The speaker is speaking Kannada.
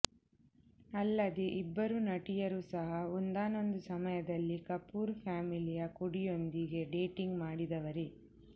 ಅಲ್ಲದೇ ಇಬ್ಬರೂ ನಟಿಯರು ಸಹ ಒಂದಾನೊಂದು ಸಮಯದಲ್ಲಿ ಕಪೂರ್ ಫ್ಯಾಮಿಲಿಯ ಕುಡಿಯೊಂದಿಗೆ ಡೇಟಿಂಗ್ ಮಾಡಿದವರೇ